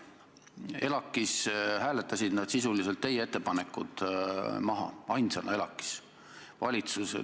ELAK-is hääletasid nad teie ettepanekud sisuliselt maha, ainsana.